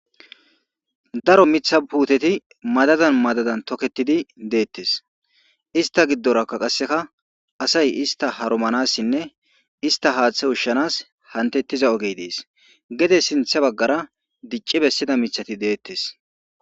Daro mitha puuteti madadan madadan toketidi deettes ista giddoraka qasseka asay ista haromanassinne ista haaththe ushshanas hantettiza ogey dees gede sintha baggara dicci bessida mithati deettes.